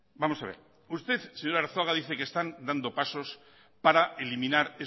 vamos a ver usted señor arzuaga dice que están dando pasos para eliminar